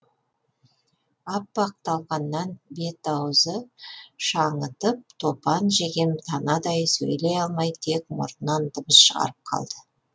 аппақ талқаннан бет ауызы шаңытып топан жеген танадай сөйлей алмай тек мұрнынан дыбыс шығарып қалды